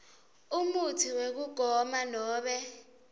umutsi wekugoma nobe